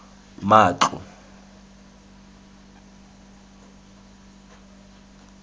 matlo